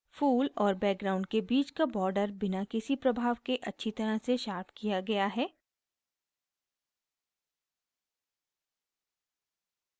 फूल और background के बीच का border बिना किसी प्रभाव के अच्छी तरह से शार्प किया गया है